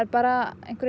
bara